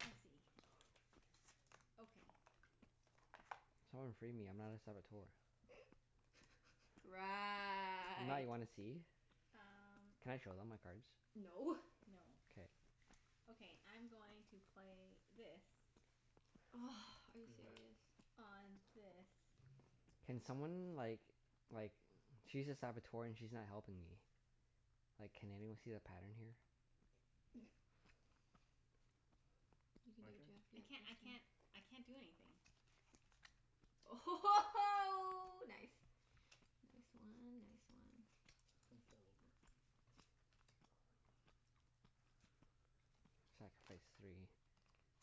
I see. Okay. Someone free me. I'm not a Saboteur. I'm not. Right. You wanna see? Um Can I show them my cards? No. No. K. Okay, I'm going to play this. Are you serious? On this. Can someone like like, she's a Saboteur and she's not helping me. Like, can anyone see the pattern here? You can do My it, turn? I Jeff. can't I can't I can't do anything. Oh ho ho ho, nice! Nice one. Nice one. Gonna fall over. Sacrifice three.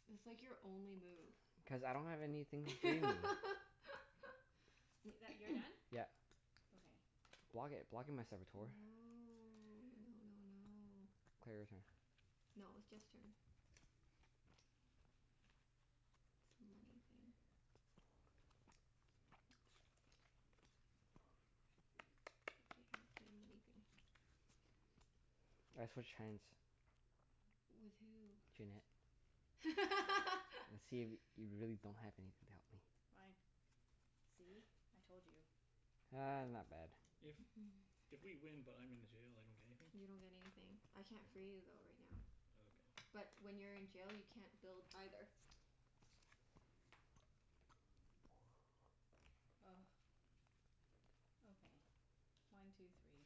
It's like your only move. Cuz I don't have anything free me. I- that, you're done? Yeah. Okay. Block it. Block it, my Saboteur. No. No no no. Claire, your turn. No, it was Jeff's turn. It's a money thing. One two three four five. Okay, I haven't done anything. I switch hands. With who? Junette. Okay. And see if y- you really don't have anything to help me. Fine. See? I told you. Ah, not bad. If if we win but I'm in the jail, I don't get anything? You don't get anything. I can't free you though, right now. Okay. But when you're in jail, you can't build, either. Okay. One two three.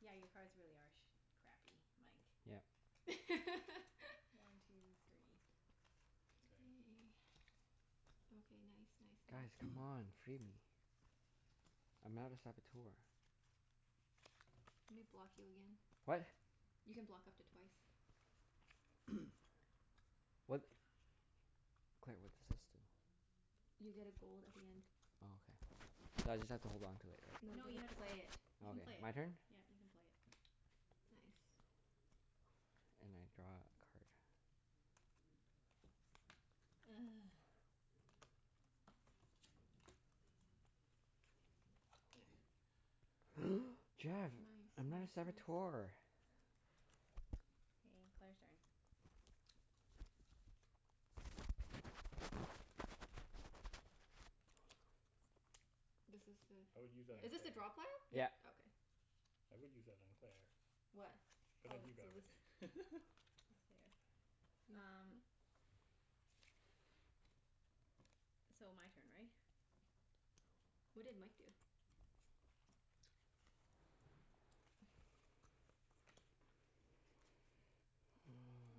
Yeah, your cards really are sh- crappy, Mike. Yep. One two three. K. K. Okay, nice nice Guys, nice. come on. Free me. I'm not a Saboteur. Let me block you again. What? You can block up to twice. What? Claire, what does this do? You get a gold at the end. Oh, okay. So I just have to hold on to it, right? No, you've No, you have gotta to play play it. it. You Oh, can play okay. it. My turn? Yeah, you can play it. Nice. And I draw a card. Jeff! Nice nice I'm not a nice. Saboteur. K, Claire's turn. This is I would use that a, on is this a drop hole? Claire. Yeah, Yep. yeah. Okay. I would use that on Claire. What? But then Oh, you grab so this it. is there. Use what? Um So, my turn, right? What did Mike do?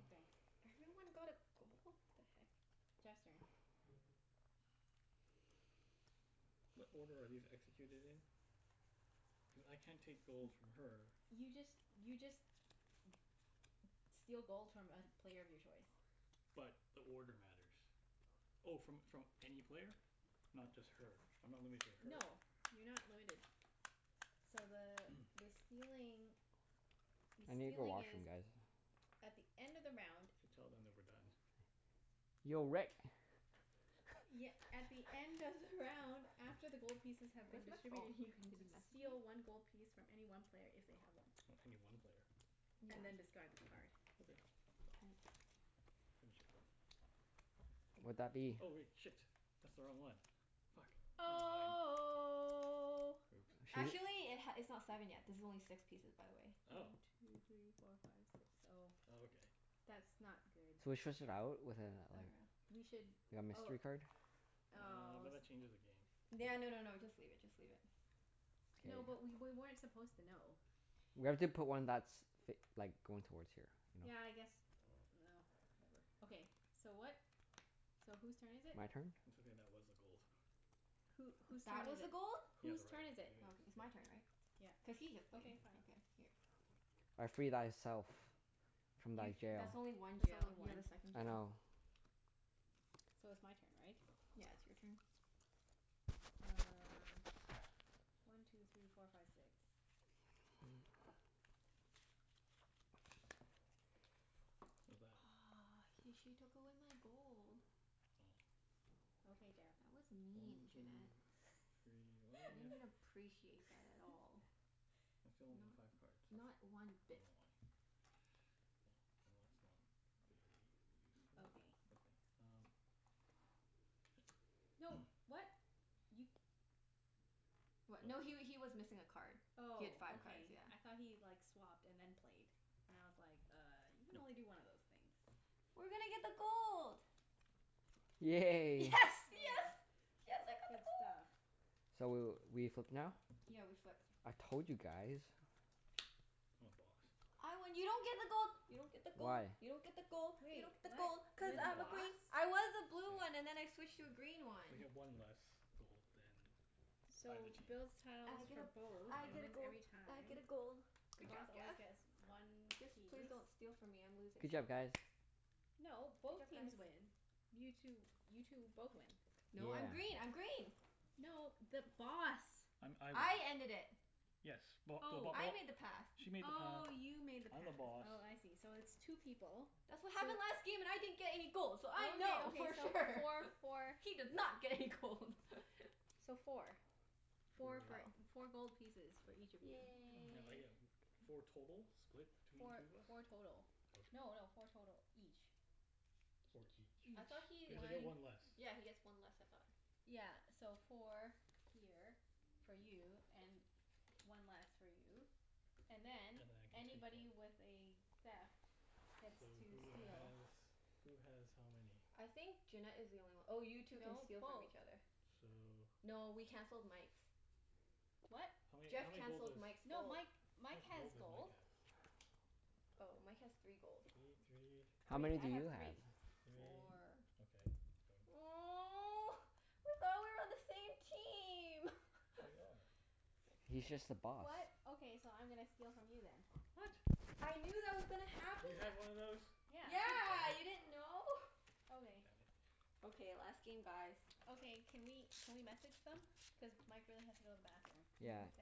Okay. Everyone got a gold? The heck? Jeff's turn. What order are these executed in? Cuz I can't take gold N- from her. you just, you just steal gold from a player of your choice. But, the order matters. Oh, from from any player? Not just her? I'm not limited to her? No. You're not limited. So the the stealing the I need the stealing is washroom, guys. at the end of the round Should tell them that we're done. Yo, Rick. Ye- at the end of the round after the gold pieces have been Where's my phone? distributed, you can Did he d- message me? steal one gold piece from any one player if they have one. O- any one player. Yeah. And then Okay. discard this card. Okay. All right. Finish it then. Would that be Oh wait. Shit. That's the wrong one. Fuck. Never mind. Oh. Oops. Should we Actually it h- it's not seven yet. This is only six pieces, by the way. Oh. One two three four five six, oh. Oh, okay. That's not good. Should we swish out with a like Or We should a oh mystery card? Uh, oh but s- that changes the game. No no no no, just leave it. Just leave it. No, but K. we wer- weren't supposed to know. We have to put one that's f- like, going towards here, you know? Yeah, I guess, no, whatever. Okay, so what? So whose turn is it? My turn? It's okay, that was the gold. Who, whose That turn was is a it? gold? Yeah, Whose the right turn one. is It it? Okay. is, It's so my turn, right? Yeah. Cuz he just played. Okay, fine. Okay, here. I free thyself. From thy You, jail. that's only one That's jail. only You have a one. second I jail. know. So it's my turn, right? Yeah, it's your turn. Um One two three four five six. What's that? Aw, he, she took away my gold. Oh. Okay, Jeff. That was mean, One two Junette. three, why I didn't don't I appreciate that at all. I still only need five Not cards. not one I don't bit. know why. Well, well that's not very useful. Okay. Okay. Um No, what? You What? What? No he wa- he was missing a card. He had Oh, five cards. okay. Yeah. I thought he like, swapped and then played. And I was like, "Uh, you can only No. do one of those things." We're gonna get the gold. Yes, Yay. Oh, yes! yay. Yes, I got the Good gold! stuff. So w- we flip now? Yeah, we flip. I told you guys. I'm a Boss. I win. You don't get the gold! You don't get the gold! Why? You don't get the gold! You Wait, don't get the gold! what? I'm Cuz the You're the I'm a Boss? Boss. green. I was a blue Yeah. one and then I switched to a green one. I get one less gold than either So, builds team. tiles I get for a, both I and get a wins gold. every I get time. a gold. The Good job, Boss always Jeff. gets one Just please piece. don't steal from me. I'm losing Good job, still. guys. No, Good both job, teams guys. win. You two, you two both win. No, I'm Yeah. green. I'm green! No, the Boss. I'm, I win. I ended it. Yes. Well, the Bo- Oh. I oh made the pass. She made the path, Oh, you made the I'm the pass. Boss. Oh, I see. So it's two people. That's what So happened last game and I didn't get any gold so I Okay, know okay, for so sure! four for She did not get any gold! So four. Four Four gold. for, Oh. four gold pieces for each of you. Now I Yay. get w- four total? Split between Four, two of us? four total. Okay. No no, four total each. Four Each. each. I thought Each. he Cuz I get he One one less. Yeah, he gets one less, I thought? Yeah, so four here, for you, and one less for you. And And then, then I can take one. anybody with a theft gets So, to who steal. has who has how many? I think Junette is the only one. Oh, you two can No, steal from both. each other. So No, we canceled Mike's. What? How many, Jeff how many gold cancelled does Mike's No, gold. Mike, How Mike much has gold does Mike gold. have? Oh, Mike has three gold. Three, three How many Three. do I have you have? three. three. Four Okay, yoink. Oh. I thought we were on the same team! We are. He's just the boss. What? Okay, so I'm gonna steal from you then. What? I knew that was gonna You had happen. one of those? Yeah. Yeah, you didn't know? God Okay. damn it. Okay, last game, guys. Okay. Can we can we message them? Cuz Mike really has to go to the bathroom. Mm, Yeah. ok-